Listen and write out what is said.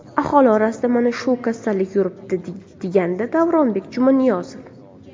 Aholi orasida mana shu kasallik yuribdi”, degandi Davronbek Jumaniyozov.